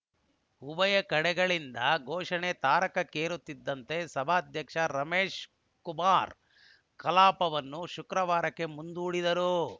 ಉಭಯ ಕಡೆಗಳಿಂದ ಘೋಷಣೆ ತಾರಕಕ್ಕೇರುತ್ತಿದ್ದಂತೆ ಸಭಾಧ್ಯಕ್ಷ ರಮೇಶಕುಮಾರ್‌ ಕಲಾಪವನ್ನು ಶುಕ್ರವಾರಕ್ಕೆ ಮುಂದೂಡಿದರು